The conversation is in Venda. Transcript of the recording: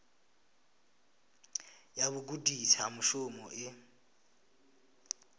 ya vhugudisi ha mushumo i